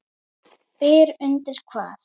Byr undir hvað?